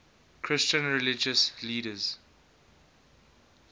christian religious leaders